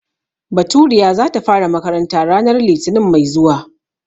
Baturiya za ta fara makaranta ranar litinin mai zuwa.